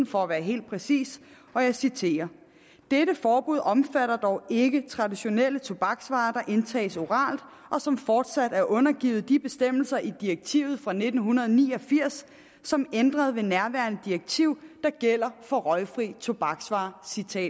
for at være helt præcis og jeg citerer dette forbud omfatter dog ikke traditionelle tobaksvarer som indtages oralt og som fortsat er undergivet de bestemmelser i direktiv fra nitten ni og firs som ændret ved nærværende direktiv der gælder for røgfrie tobaksvarer